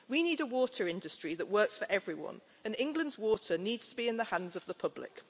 We need a water industry that works for everyone and England's water needs to be in the hands of the public.